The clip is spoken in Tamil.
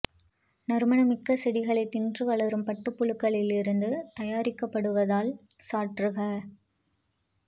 நறுமணமிக்க செடிகளைத் தின்று வளரும் பட்டுப்புழுக்களில் இருந்து தயாரிக்கப்படுவதால் சற்று கா